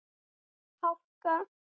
Hálka og éljagangur á Austurlandi